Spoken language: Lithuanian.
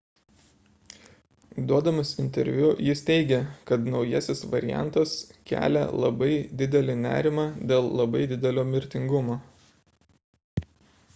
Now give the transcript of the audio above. duodamas interviu jis teigė kad naujasis variantas kelia labai didelį nerimą dėl labai didelio mirtingumo